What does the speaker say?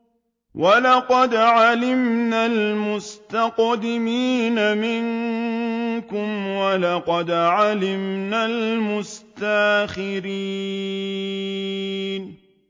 وَلَقَدْ عَلِمْنَا الْمُسْتَقْدِمِينَ مِنكُمْ وَلَقَدْ عَلِمْنَا الْمُسْتَأْخِرِينَ